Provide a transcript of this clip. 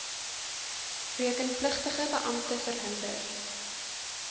rekenpligtige beampte verhinder